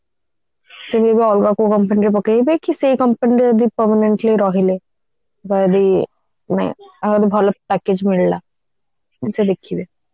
ସେ ଏବେ ଅଲଗା କୋଉ company ରେ ପକେଇବେ କି ସେଇ company ରେ ଯଦି permanently ରହିଲେ ବା ଯଦି ନାଇଁ ବା ଯଦି ଭଲ package ମିଳିଲା ସେ ଦେଖିବେ